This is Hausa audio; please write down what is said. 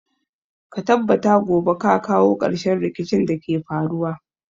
Ka tabbata gobe ka kawo ƙarshen rikicin da ke faruwa.